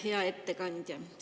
Hea ettekandja!